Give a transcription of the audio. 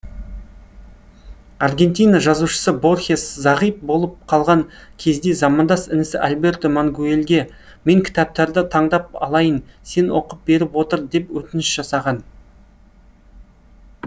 аргентина жазушысы борхес зағип болып қалған кезінде замандас інісі альберто мангуэльге мен кітаптарды таңдап алайын сен оқып беріп отыр деп өтініш жасаған